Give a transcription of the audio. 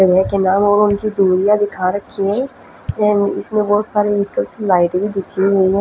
के नाम और उनकी दूरियां दिखा रखी है देन इसमें बहुत सारी एक तरह से लाइटिंग दिखी हुई है।